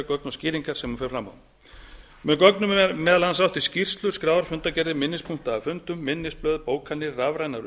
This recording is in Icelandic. gögn og skýringar sem hún fer fram á með gögnum er meðal annars átt við skýrslur skrár fundargerðir minnispunkta af fundum minnisblöð bókanir rafrænar